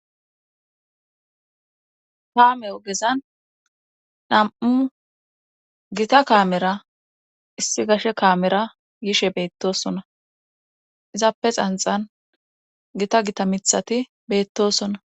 Kaame ogezan nam7u gita kaamera issi gashe kaamera yishe beettosona izaappe xanxan gita gita mithati beettosona